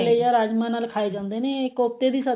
ਜਾਂ ਰਾਜਮਹ ਨਾਲ ਖਾਏ ਜਾਂਦੇ ਨੇ ਇਹ ਕੋਫਤੇ ਦੀ ਸਬਜੀ